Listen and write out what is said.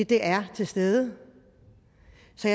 det er til stede